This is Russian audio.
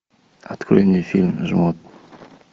открой мне фильм жмот